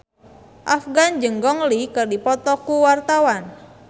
Afgan jeung Gong Li keur dipoto ku wartawan